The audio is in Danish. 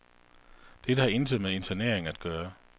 Dette har intet med internering at gøre.